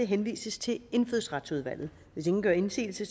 henvises til indfødsretsudvalget hvis ingen gør indsigelse